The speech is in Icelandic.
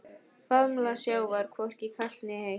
Faðmlag sjávar hvorki kalt né heitt.